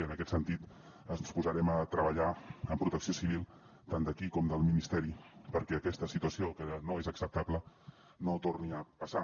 i en aquest sentit ens posarem a treballar amb protecció civil tant d’aquí com del ministeri perquè aquesta situació que no és acceptable no torni a passar